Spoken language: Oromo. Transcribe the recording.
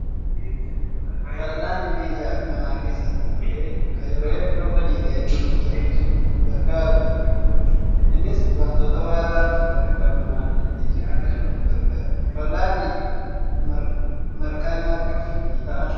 Fal'aanni meeshaa mana keessaa tokko ta'ee, kan yeroo hedduu hojiilee hedduu nuuf salphisuuf nu gargaarudha. Innis wantoota ho'aa ta'an kan akka bunaa ittiin sochoosuuf nu gargaara. Fal'aanni marqaa nyaachuuf ni ta'aa?